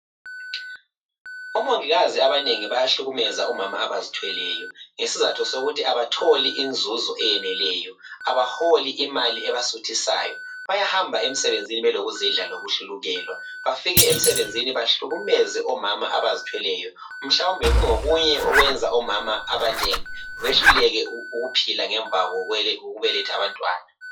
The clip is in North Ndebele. Umongikazi abanengi bayahlukumeza omama abazithweleyo ngesizatho sokuthi abatholi inzuzu eyeneleyo abaholi imali ebasuthisayo bayahamba emsebenzini belokuzidla lokuhlukukelwa bafike emsebenzini behiukumeze omama abazithweleyo mhlawumbe kungokunye okwenza omama abanengi behluleke ukuphila ngemva kokubeletha abantwana.